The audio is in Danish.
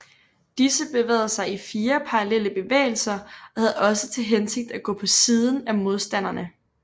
Disse bevægede sig i fire parallelle bevægelser og havde også til hensigt at gå på siden af modstanderne